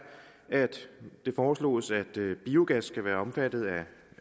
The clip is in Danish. at det foreslås at biogas skal være omfattet af